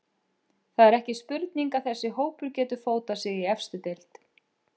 Það er ekki spurning að þessi hópur getur fótað sig í efstu deild.